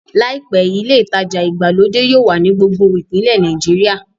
Làìpé, ilé ìtajà ìgbàlódé yóò wà ní gbogbo ìpínlẹ̀ Nàìjíríà